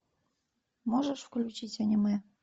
можешь включить аниме